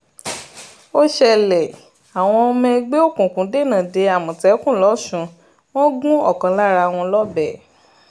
ó ṣẹlẹ̀ àwọn ọmọ ẹgbẹ́ òkùnkùn dènà dé àmọ̀tẹ́kùn lọ́sùn wọn gún ọ̀kan lára wọn lọ́bẹ̀